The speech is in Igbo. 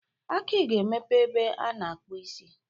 Aki ga-emepe ebe a na-akpụ isi.